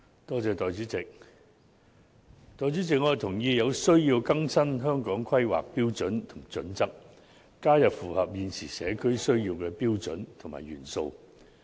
代理主席，我同意有需要更新《香港規劃標準與準則》，加入符合現時社會需要的標準和元素。